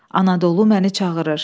Anadolu məni çağırır.